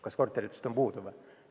Kas korteritest on puudu?